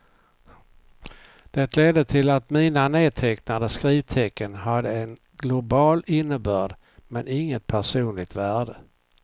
Det ledde till att mina nedtecknade skrivtecken hade en global innebörd, men inget personligt värde.